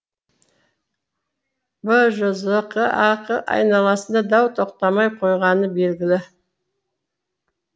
бжзқ ақ айналасында дау тоқтамай қойғаны белгілі